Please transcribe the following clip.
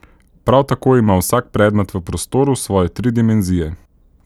Prav tako ima vsak predmet v prostoru svoje tri dimenzije.